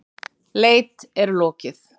Leit er lokið.